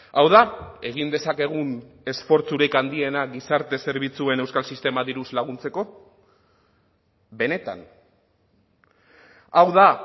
hau da egin dezakegun esfortzurik handiena gizarte zerbitzuen euskal sistema diruz laguntzeko benetan hau da